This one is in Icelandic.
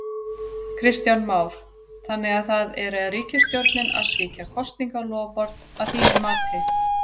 Kristján Már: Þannig að það er ríkisstjórnin að svíkja kosningaloforð að þínu mati?